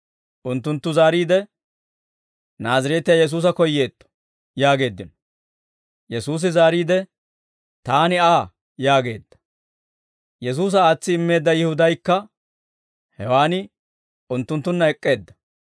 Unttunttu zaariide, «Naazireetiyaa Yesuusa koyyeetto» yaageeddino. Yesuusi zaariide, «Taani Aa» yaageedda. Yesuusa aatsi immeedda Yihudaykka hewan unttunttunna ek'k'eedda;